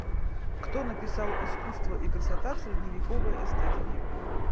кто написал искусство и красота в средневековой эстетике